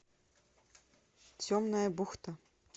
темная бухта